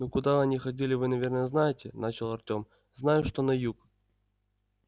ну куда они ходили вы наверное знаете начал артём знаю что на юг